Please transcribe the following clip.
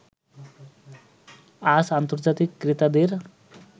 আজ আন্তর্জাতিক ক্রেতাদের